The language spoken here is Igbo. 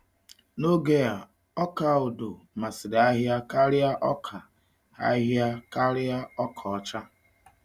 N’oge a, ọka odo masịrị ahịa karịa ọka ahịa karịa ọka ọcha.